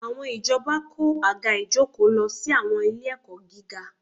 Àwọn ìjọba kó àga ìjókòó lọ sí àwọn ilé-ẹ̀kọ́ gíga